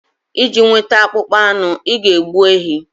Iji nweta akpụkpọ anụ, ị ga-egbu ehi